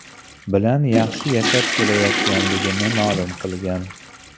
bilan yaxshi yashab kelayotganligini ma’lum qilgan.